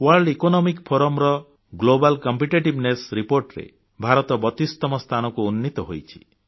world economic forum global competitiveness Reportରେ ଭାରତ 32ତମ ସ୍ଥାନକୁ ଉନ୍ନୀତ ହୋଇଛି